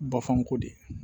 Bafanko de